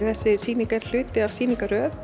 þessi sýning er hluti af